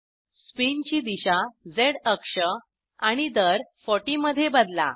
स्पिनची दिशा झ अक्ष आणि दर 40 मध्ये बदला